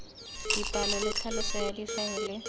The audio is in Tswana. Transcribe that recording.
dipalo le tlhaloso ya difaele